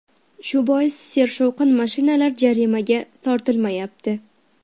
Shu bois sershovqin mashinalar jarimaga tortilmayapti.